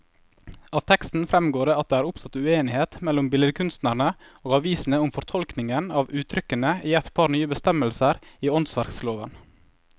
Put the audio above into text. Av teksten fremgår det at det er oppstått uenighet mellom billedkunstnerne og avisene om fortolkningen av uttrykkene i et par nye bestemmelser i åndsverkloven.